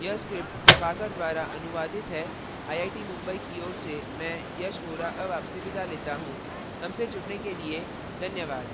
यह स्क्रिप्ट प्रभाकर द्वारा अनुवादित है आई आई टी मुंबई की ओर से मैं यश वोरा अब आपसे विदा लेता हूँ हमसे जुड़ने के लिए धन्यवाद